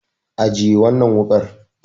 Ajiye wannan wuƙar.